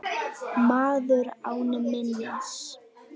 Maður án minnis.